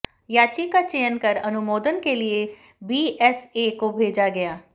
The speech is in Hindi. याची का चयन कर अनुमोदन के लिए बीएसए को भेजा गया